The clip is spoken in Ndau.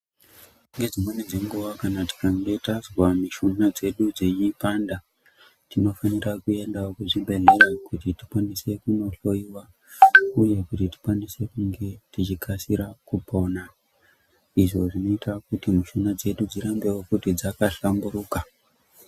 Ngedzimweni dzenguva kana tikange tazwa mishuna dzedu dzeipanda, tinofanira kuendawo kuzvibhedhlera kuti tikwanise kunohloyiwa uye kuti tikwanise kunge tichikasire kupona. Izvo zvinoita kuti mishuna dzedu dzirambewo futi dzakahlamburuka.